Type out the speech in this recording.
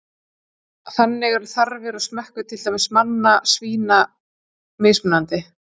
Þannig eru þarfir og smekkur, til dæmis manna og svína, mismunandi.